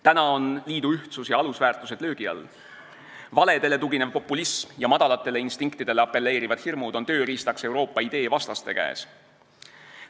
Täna on liidu ühtsus ja alusväärtused löögi all – valedele tuginev populism ja madalatele instinktidele apelleerivad hirmud on tööriistaks Euroopa idee vastaste käes.